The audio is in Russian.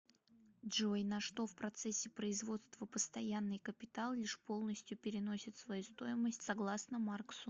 джой на что в процессе производства постоянный капитал лишь полностью переносит свою стоимость согласно марксу